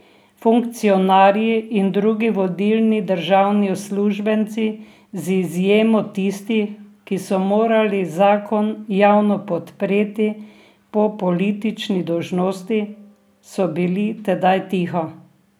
Funkcionarji in drugi vodilni državni uslužbenci, z izjemo tistih, ki so morali zakon javno podpreti po politični dolžnosti, so bili tedaj tiho.